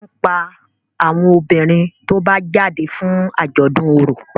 wón pá àwọn obìrin tó bá jáde fún ajọdun ọrọ.